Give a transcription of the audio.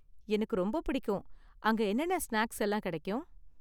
எனக்கு ரொம்ப பிடிக்கும், அங்கே என்னென்ன ஸ்நாக்ஸ் எல்லாம் கிடைக்கும்?